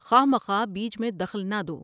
خوہ مخواہ بیچ میں دخل نہ دو ۔